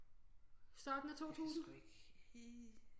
I starten af 2000